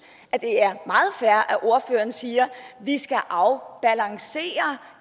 at det er meget fair at ordføreren siger vi skal afbalancere